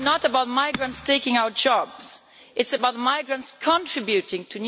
It is not about migrants taking our jobs, but it is about migrants contributing to new...